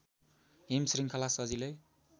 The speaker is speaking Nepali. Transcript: हिमशृङ्खला सजिलै